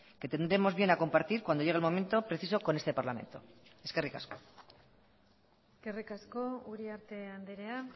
que tendremos bien a compartir cuando llegue el momento preciso con este parlamento eskerrik asko eskerrik asko uriarte andrea